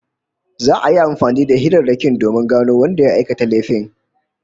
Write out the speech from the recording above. Za'a yi amfani da hirarrakin domin gano wanda ya aikata laifin